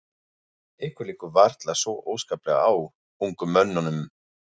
Ykkur liggur varla svo óskaplega á, ungum mönnunum.